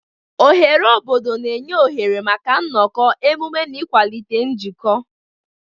Oghere obodo na-enye oghere maka nnọkọ, emume na ịkwalite njikọ.